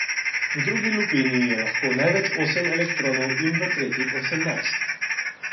V drugi lupini je lahko največ osem elektronov in v tretji osemnajst.